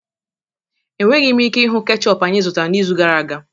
Enweghị m ike ịhụ ketchup anyị zụtara n'izu gara aga